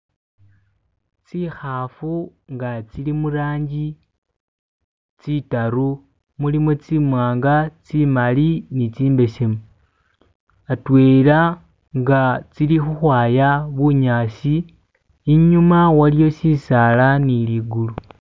tsihafu nga tsili mulangi tsitaru mulimu tsimwanga tsimali ni tsimbesemu atwela nga tsili uhwaya bunyasi inyuma waliho shisaala niligulu